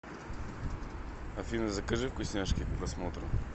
афина закажи вкусняшки к просмотру